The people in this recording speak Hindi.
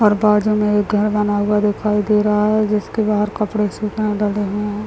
और बाजू में एक घर बना हुआ दिखाई दे रहा है जिसके बाहर कपड़े सूखने डले हुए है।